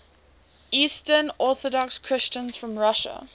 eastern orthodox christians from russia